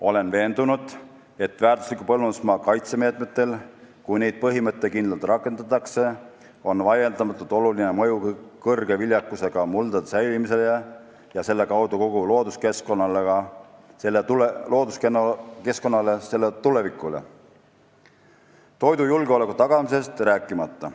Olen veendunud, et väärtusliku põllumajandusmaa kaitse meetmetel, kui neid põhimõttekindlalt rakendatakse, on vaieldamatult oluline mõju kõrge viljakusega muldade säilimisele ja selle kaudu kogu looduskeskkonnale, selle tulevikule, toidujulgeoleku tagamisest rääkimata.